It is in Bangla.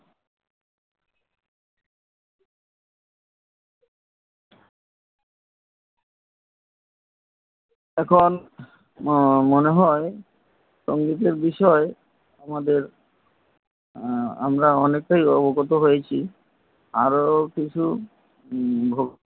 এখন মনে হয় সঙ্গীতের বিষয় আমাদের আমরা অনেক টাই অবগত হয়েছি আরও কিছু